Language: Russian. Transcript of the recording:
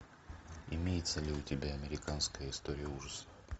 имеется ли у тебя американская история ужасов